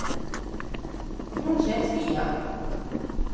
Hún hét Fía.